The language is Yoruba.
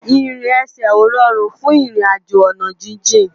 Irin èsè ó ròrún fún irin àjó àná jijin